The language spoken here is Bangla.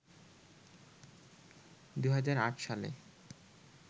২০০৮ সালে